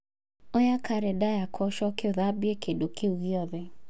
oya karenda yakwa ũcoke ũthambie kĩndũ kĩu gĩothe